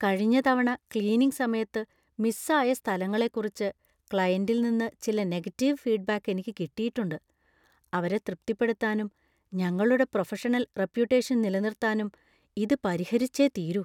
കഴിഞ്ഞ തവണ ക്ലീനിംഗ് സമയത്ത് മിസ് ആയ സ്ഥലങ്ങളെക്കുറിച്ച് ക്ലയന്‍റില്‍ നിന്ന് ചില നെഗറ്റീവ് ഫീഡ്‌ബാക്ക് എനിക്ക് കിട്ടിയിട്ടുണ്ട്. അവരെ തൃപ്തിപ്പെടുത്താനും ഞങ്ങളുടെ പ്രൊഫഷണൽ റപ്യുട്ടേഷൻ നിലനിർത്താനും ഇത് പരിഹരിച്ചെ തീരൂ .